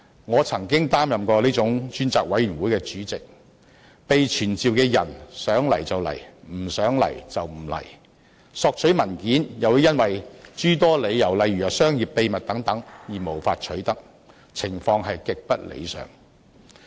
我曾經擔任這種專責委員會的主席，被傳召的人想來便來，不想來便不來；索取文件又會因商業秘密等諸多理由而無法取得，情況極不理想。